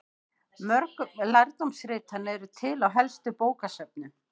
Mörg lærdómsritanna eru til á helstu bókasöfnum.